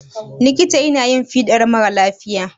likita yana yin fiɗar mara lafiya